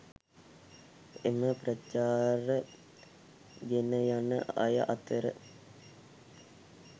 එම ප්‍රචාර ගෙන යන අය අතර